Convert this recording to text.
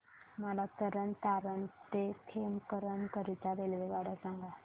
मला तरण तारण ते खेमकरन करीता रेल्वेगाड्या सांगा